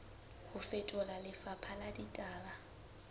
ho fetola lefapha la ditaba